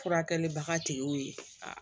Furakɛlibaga tigiw ye